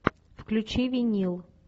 включи винил